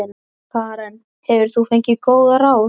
Karen: Hefur þú fengið góð ráð?